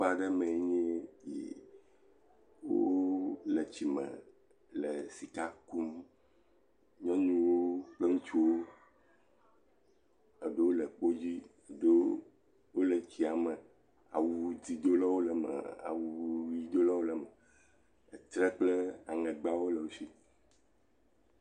Aƒe aɖe mee nye eya amewo le tsiome le sika kum, nyɔnuwo kple ŋutsuwo , eɖewo le kpodzi eɖewo le tsia me awu dzɛ̃dola le eme awu ʋi dolawo le eme. Etrɛ kple eŋegbawo le wo si.